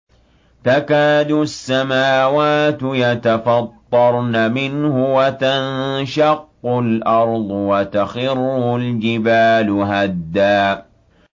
تَكَادُ السَّمَاوَاتُ يَتَفَطَّرْنَ مِنْهُ وَتَنشَقُّ الْأَرْضُ وَتَخِرُّ الْجِبَالُ هَدًّا